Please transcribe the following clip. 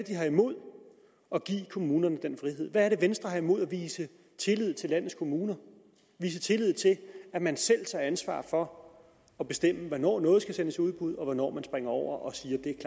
har imod at give kommunerne den frihed hvad er det venstre har imod at vise tillid til landets kommuner vise tillid til at man selv tager ansvar for at bestemme hvornår noget skal sendes i udbud og hvornår man springer over og